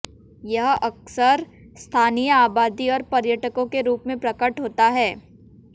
यह अक्सर स्थानीय आबादी और पर्यटकों के रूप में प्रकट होता है